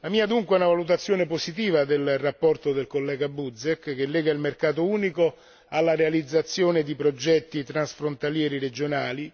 La mia, dunque, è una valutazione positiva della relazione del collega Buzek, che lega il mercato unico alla realizzazione di progetti transfrontalieri regionali